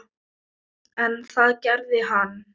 En það gerði hann.